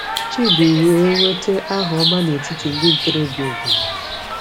Chidi wee nweta aha ọma n’etiti ndị ntorobịa obodo.